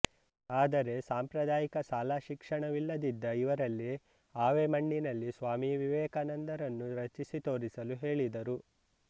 ಆದರೆ ಸಾಂಪ್ರದಾಯಿಕ ಶಾಲಾ ಶಿಕ್ಷಣವಿಲ್ಲದಿದ್ದ ಇವರಲ್ಲಿ ಆವೆಮಣ್ಣಿನಲ್ಲಿ ಸ್ವಾಮಿ ವಿವೇಕಾನಂದರನ್ನು ರಚಿಸಿ ತೋರಿಸಲು ಹೇಳಿದರು